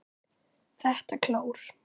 ÞETTA KLÓR!